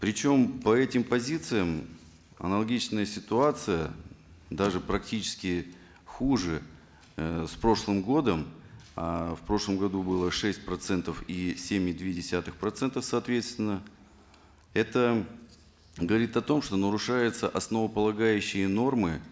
причем по этим позициям аналогичная ситуация даже практически хуже э с прошлым годом а в прошлом году было шесть процентов и семь и две десятых процентов соответственно это говорит о том что нарушаются основополагающие нормы